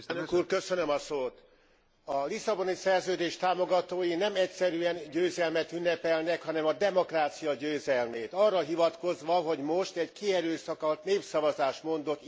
A Lisszaboni Szerződés támogatói nem egyszerűen győzelmet ünnepelnek, hanem a demokrácia győzelmét, arra hivatkozva, hogy most egy kierőszakolt népszavazás mondott igent.